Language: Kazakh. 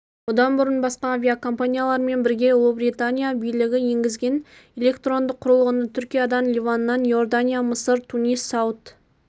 бұдан бұрын басқа авиакомпаниялармен бірге ұлыбритания билігі енгізген электрондық құрылғыны түркиядан ливаннан иордания мысыр тунис сауд